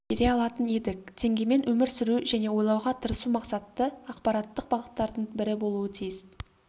бере алатын едік теңгемен өмір сүру және ойлауға тырысу мақсатты ақпараттық бағыттардың бірі болуы тиіс